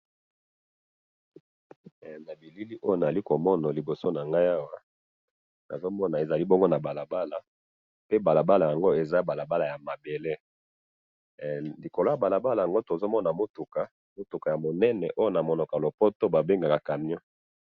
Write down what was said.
Elili oyo nazalikomona liboso nangayi awa, nazomona ezali bongo nabalabala, pe balabala yango, ezali balabala yamabele, likolo yabalabala yango tozomona mutuka, mutuka yamunene, oyo namunoko yalopoto babengaka yango camion